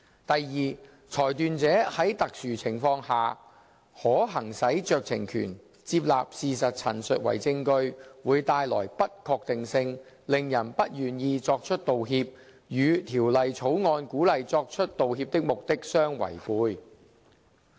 第二，裁斷者在特殊情況下，可行使酌情權，接納事實陳述為證據，會帶來不確定性，令人不願意作出道歉，與《條例草案》鼓勵作出道歉的目的相違背。